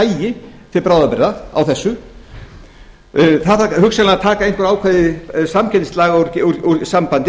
hægist til bráðabirgða á þessu það þarf hugsanlega að taka einhver ákvæði samkeppnislaga úr sambandi